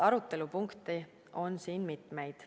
Arutelupunkte on siin mitmeid.